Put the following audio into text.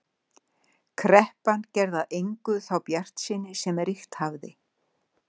Kreppan gerði að engu þá bjartsýni sem ríkt hafði.